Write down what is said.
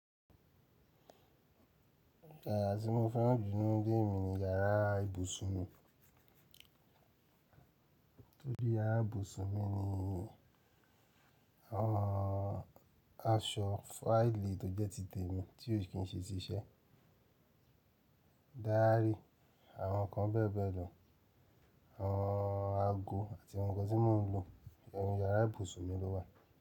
Yàrá tí mo fẹ́ràn jù nílé mi ni yàrá ibùsùn mi, torí yàrá ibùsùn mi ni àwọn aṣọ, fáìlì tó jẹ́ ti tèmi tí ó kí n ṣe ṣíṣẹ́, diáárí, àwọn nǹkan bẹ́ẹ̀ bẹ́ẹ̀ lọ, àwọn ago àti àwọn nǹkan tí mò ń lò nínú yàrá ibùsùn mi ló wà.